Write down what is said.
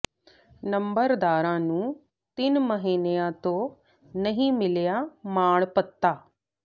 ਨੰਬਰਦਾਰਾਂ ਨੂੰ ਤਿੰਨ ਮਹੀਨਿਆਂ ਤੋਂ ਨਹੀਂ ਮਿਲਿਆ ਮਾਣ ਭੱਤਾ